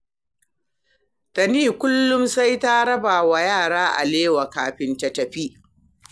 Tani kullum sai ta raba wa yara alewa kafin ta fita